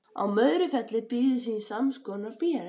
Á Möðrufelli býður þín samskonar bréf.